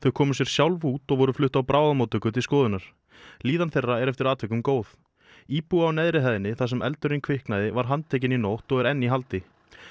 komu sér sjálf út og voru flutt á bráðamóttöku til skoðunar líðan þeirra er eftir atvikum góð íbúi á neðri hæðinni þar sem eldurinn kviknaði var handtekinn í nótt og er enn í haldi